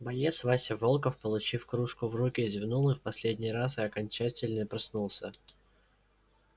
боец вася волков получив кружку в руки зевнул в последний раз и окончательно проснулся